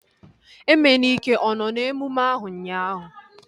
Emenike ọ nọ n'emume ahu ụnyaahụ?